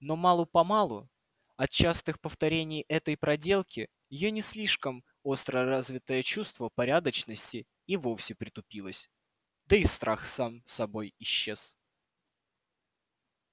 но мало-помалу от частых повторений этой проделки её не слишком остро развитое чувство порядочности и вовсе притупилось да и страх сам собой исчез